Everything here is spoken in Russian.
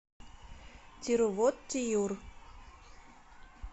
тирувоттиюр